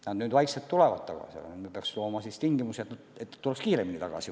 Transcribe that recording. Nad nüüd vaikselt tulevad tagasi, aga me peaks looma tingimusi, et nad tuleks kiiremini tagasi.